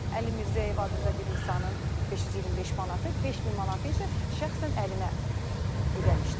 Əli Mirzəyev adında bir insanın 525 manatı, 5000 manatı isə şəxsən əlinə ödəmişdim.